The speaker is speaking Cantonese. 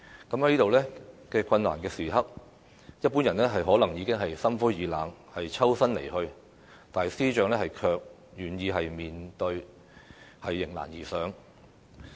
在這樣困難的時刻，一般人可能已經心灰意冷，抽身離去，但司長卻願意面對，迎難而上。